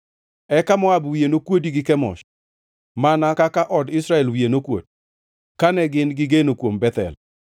Eka Moab wiye nokuodi gi Kemosh, mana kaka od Israel wiye nokuot, kane gin-gi geno kuom Bethel.